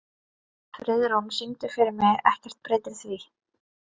Friðrún, syngdu fyrir mig „Ekkert breytir því“.